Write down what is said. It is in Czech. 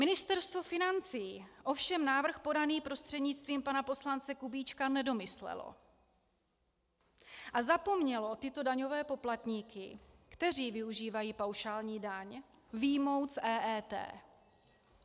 Ministerstvo financí ovšem návrh podaný prostřednictvím pana poslance Kubíčka nedomyslelo a zapomnělo tyto daňové poplatníky, kteří využívají paušální daň, vyjmout z EET.